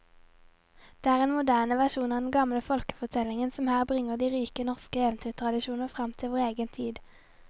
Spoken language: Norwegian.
Det er en moderne versjon av de gamle folkefortellingene som her bringer de rike norske eventyrtradisjoner fram til vår egen tid.